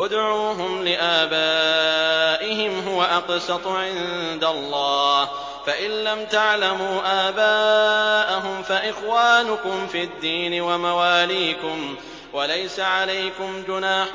ادْعُوهُمْ لِآبَائِهِمْ هُوَ أَقْسَطُ عِندَ اللَّهِ ۚ فَإِن لَّمْ تَعْلَمُوا آبَاءَهُمْ فَإِخْوَانُكُمْ فِي الدِّينِ وَمَوَالِيكُمْ ۚ وَلَيْسَ عَلَيْكُمْ جُنَاحٌ